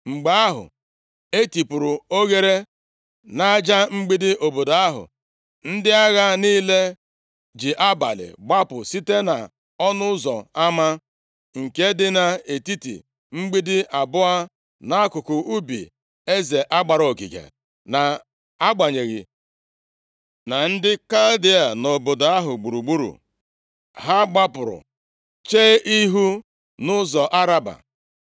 Mgbe ahụ, e tipuru oghere nʼaja mgbidi obodo ahụ, ndị agha niile ji abalị gbapụ site nʼọnụ ụzọ ama nke dị nʼetiti mgbidi abụọ nʼakụkụ ubi eze a gbara ogige, nʼagbanyeghị na ndị Kaldịa + 25:4 Maọbụ, Babilọn nọ obodo ahụ gburugburu. Ha gbapụrụ chee ihu nʼụzọ Araba. + 25:4 Ya bụ ndagwurugwu Jọdan